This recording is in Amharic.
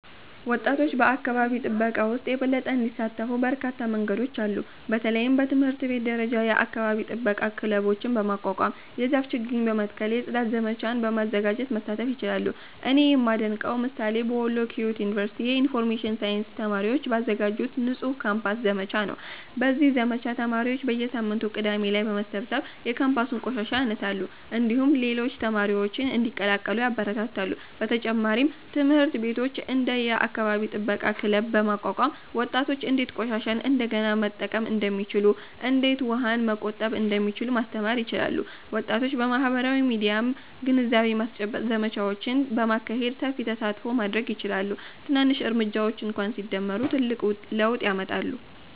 ወጣቶች በአካባቢ ጥበቃ ውስጥ የበለጠ እንዲሳተፉ በርካታ መንገዶች አሉ። በተለይም በትምህርት ቤት ደረጃ የአካባቢ ጥበቃ ክለቦችን በማቋቋም፣ የዛፍ ችግኝ በመትከል፣ የጽዳት ዘመቻዎችን በማዘጋጀት መሳተፍ ይችላሉ። እኔ የማደንቀው ምሳሌ በወሎ ኪዮት ዩኒቨርሲቲ የኢንፎርሜሽን ሳይንስ ተማሪዎች ባዘጋጁት “ንጹህ ካምፓስ” ዘመቻ ነው። በዚህ ዘመቻ ተማሪዎች በየሳምንቱ ቅዳሜ ላይ በመሰብሰብ የካምፓሱን ቆሻሻ ያነሳሉ፣ እንዲሁም ሌሎች ተማሪዎችን እንዲቀላቀሉ ያበረታታሉ። በተጨማሪም ትምህርት ቤቶች እንደ “የአካባቢ ጥበቃ ክለብ” በማቋቋም ወጣቶች እንዴት ቆሻሻን እንደገና መጠቀም እንደሚችሉ፣ እንዴት ውሃን መቆጠብ እንደሚቻል ማስተማር ይችላሉ። ወጣቶች በማህበራዊ ሚዲያም የግንዛቤ ማስጨበጫ ዘመቻዎችን በማካሄድ ሰፊ ተሳትፎ ማድረግ ይችላሉ። ትናንሽ እርምጃዎች እንኳ ሲደመሩ ትልቅ ለውጥ ያመጣሉ።